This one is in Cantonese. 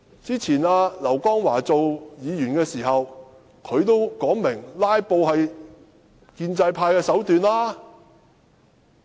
之前劉江華擔任議員的時候，也說"拉布"是建制派的手段。